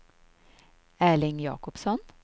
Erling Jacobsson